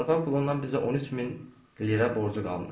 Torpaq pulundan bizə 13 min lirə borcu qalmışdı.